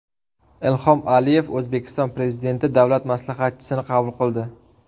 Ilhom Aliyev O‘zbekiston Prezidenti davlat maslahatchisini qabul qildi.